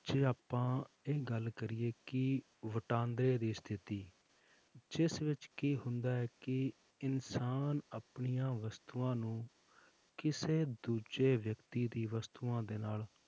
ਜੇ ਆਪਾਂ ਇਹ ਗੱਲ ਕਰੀਏ ਕਿ ਵਟਾਂਦਰੇ ਦੀ ਸਥਿਤੀ ਜਿਸ ਵਿੱਚ ਕੀ ਹੁੰਦਾ ਹੈ ਕਿ ਇਨਸਾਨ ਆਪਣੀਆਂ ਵਸਤੂਆਂ ਨੂੰ ਕਿਸੇ ਦੂਜੇ ਵਿਅਕਤੀ ਦੀ ਵਸਤੂਆਂ ਦੇ ਨਾਲ